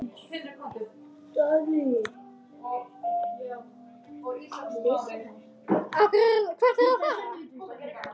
Það er mjög gaman.